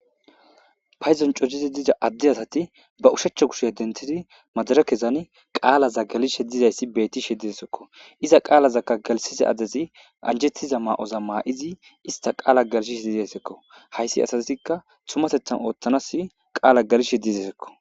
Hayzon corizi diiza addi asati ba ushechcha kushe adentidi madarakezan qaalaza galishe dizayssi betishe dizesekko, iza qaalazakka galshiza adezi anjettiza ma'oza maa'izi ista qaala galshishe diizayssekko hayssi asatikka tumasethan ooththanas qaala galishe diizesekko.